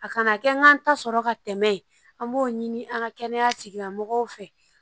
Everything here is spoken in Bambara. A kana kɛ n ka n ta sɔrɔ ka tɛmɛ an b'o ɲini an ka kɛnɛya tigilamɔgɔw fɛ